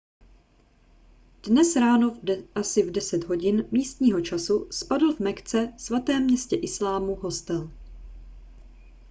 dnes ráno asi v 10 hodin místního času spadl v mekce svatém městě islámu hostel